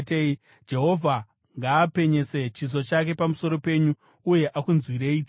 Jehovha ngaapenyese chiso chake pamusoro penyu uye akunzwirei tsitsi;